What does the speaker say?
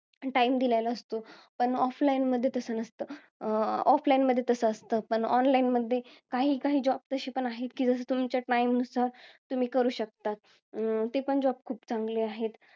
Time दिलेला असतो. पण offline मध्ये तसं नसतं. अं offline मध्ये तसं असतं, पण online मध्ये काही काही job तसे पण आहेत. कि, जसं तुमच्या time नुसार तुम्ही करू शकता. अं ते पण job खूप चांगले आहेत.